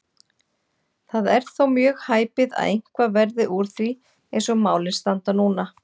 Það er þó mjög hæpið að eitthvað verði úr því eins og málin standa núna.